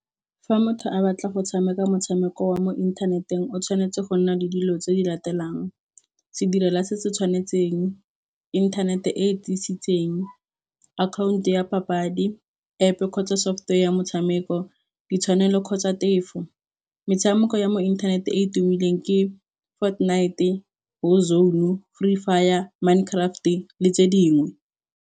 Fa motho a batla go tshameka motshameko wa mo inthaneteng o tshwanetse go nna le dilo tse di latelang. Sedirela se se tshwanetseng, inthanete e e tiisitseng, akhaonto ya papadi, App kgotsa software ya motshameko. Di tshwanelo kgotsa tefo, metshameko ya mo inthaneteng e e tumileng ke fort knight, war zone le fire minecraft le tse dingwe.